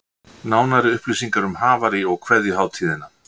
Nánari upplýsingar um Havarí og kveðjuhátíðina